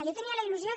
jo tenia la il·lusió